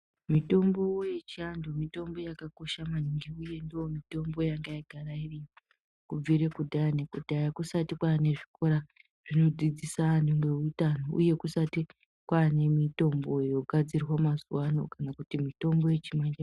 Mitombo yechiandu mitombo yakakosha maningi, uye ndiyo mitombo yanga yagara iriko kubvira kudhaya nekudhaya kusati kwave nezvikora zvinodzidzisa anhu neutano uye kusati kwaane mitombo yogadzirwa mazuvano kana mitombo yechimanji manji.